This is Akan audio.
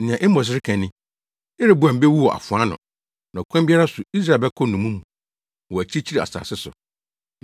Nea Amos reka ni: “ ‘Yeroboam bewu wɔ afoa ano, na ɔkwan biara so Israel bɛkɔ nnommum mu, wɔ akyirikyiri asase so.’ ”